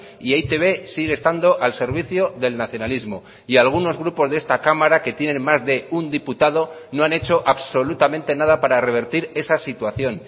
y e i te be sigue estando al servicio del nacionalismo y algunos grupos de esta cámara que tienen más de un diputado no han hecho absolutamente nada para revertir esa situación